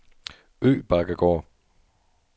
Øbakkegård